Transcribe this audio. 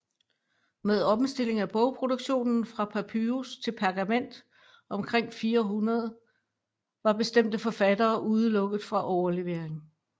Med omstilling af bogproduktionen fra papyrus til pergament omkring 400 var bestemte forfattere udelukket fra overlevering